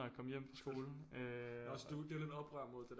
Jeg kom hjem fra skolen